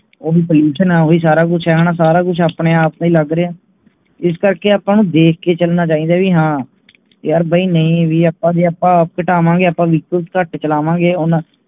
ਓਹੀ pollution ਹੈ ਉਹੀ ਸਾਰਾ ਕੁਛ ਹੈ ਸਾਰਾ ਕੁਛ ਆਪਣੇ ਆਪ ਤੇ ਹੀ ਲੱਗ ਰਿਹਾ ਹੈ ਇਸ ਕਰਕੇ ਆਪ ਦੇਖ ਕੇ ਚਲਣਾ ਚਾਹੀਦਾ ਹੈ ਵੀ ਹਾਂ ਯਾਰ ਬਾਯੀ ਨਹੀਂ ਵੀ ਆਪਾਂ ਵੀ ਆਪਾਂ ਘਟਾਂਵਾਂਗੇ ਆਪਾਂ ਵੀ vehicle ਘੱਟ ਚਲਾ ਹੁਣਵਾਂਗੇ ਹੁਣ